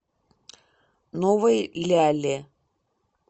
новой ляле